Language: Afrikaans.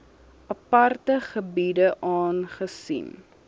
aparte gebiede aangesien